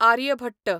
Aryabhata